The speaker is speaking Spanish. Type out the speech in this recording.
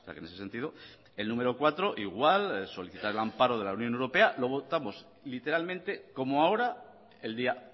en ese sentido el número cuatro igual solicitar el amparo de la unión europea lo votamos literalmente como ahora el día